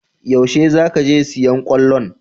Yaushe za ka je sayo kwallon?